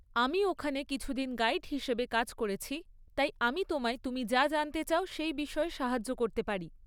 আমি ওখানে কিছুদিন গাইড হিসেবে কাজ করেছি, তাই আমি তোমায় তুমি যা জানতে চাও সেই বিষয়ে সাহায্য করতে পারি।